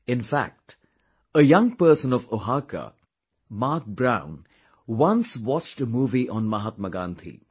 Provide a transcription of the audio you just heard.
In fact a young person of Oaxaca, Mark Brown once watched a movie on Mahatma Gandhi